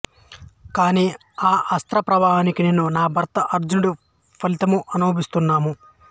కాని ఆ అస్త్ర ప్రభావానికి నేను నా భర్త అర్జునుడు ఫలితము అనుభవిస్తున్నాము